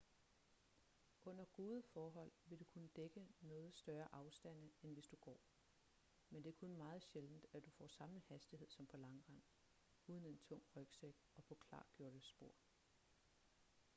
under gode forhold vil du kunne dække noget større afstande end hvis du går men det er kun meget sjældent at du får samme hastighed som på langrend uden en tung rygsæk og på klargjorte spor